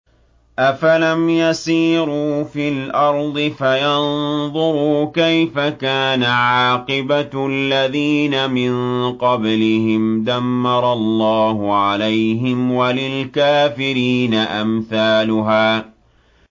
۞ أَفَلَمْ يَسِيرُوا فِي الْأَرْضِ فَيَنظُرُوا كَيْفَ كَانَ عَاقِبَةُ الَّذِينَ مِن قَبْلِهِمْ ۚ دَمَّرَ اللَّهُ عَلَيْهِمْ ۖ وَلِلْكَافِرِينَ أَمْثَالُهَا